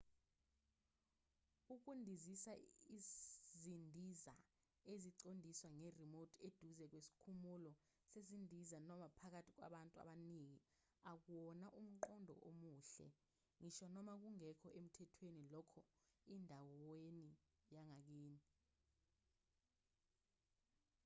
ukundizisa izindiza eziqondiswa nge-remote eduze kwesikhumulo sezindiza noma phakathi kwabantu abaningi akuwona umqondo omuhle ngisho noma kungekho emthwethweni lokho endaweni yangakini